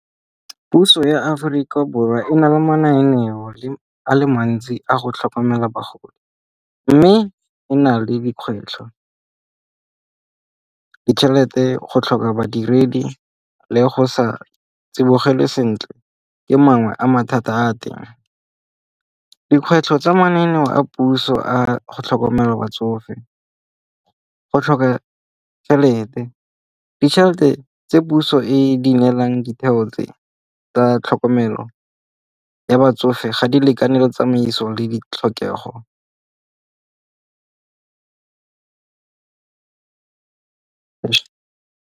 Puso ya Aforika Borwa e na le mananeo le a le mantsi a go tlhokomela bagodi. Mme e na le dikgwetlho, ditšhelete go tlhoka badiredi le go sa tsibogele sentle ka mangwe a mathata a a teng. Dikgwetlho tsa mananeo a puso a go tlhokomela batsofe, go tlhoka tšhelete. Ditšhelete tse puso e e dingalang ditheo tse tsa tlhokomelo ya batsofe ga di lekane le tsamaiso le ditlhokego.